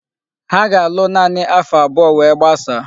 Ha ga-alụ naanị afo abụọ we gbasaa.